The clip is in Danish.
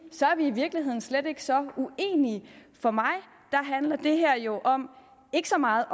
er vi i virkeligheden slet ikke så uenige for mig handler det her jo ikke så meget